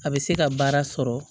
A bɛ se ka baara sɔrɔ